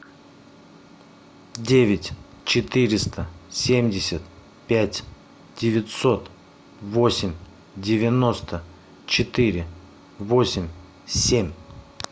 девять четыреста семьдесят пять девятьсот восемь девяносто четыре восемь семь